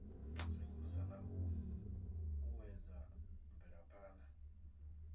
sengulusa na u uuwedza mvelaphana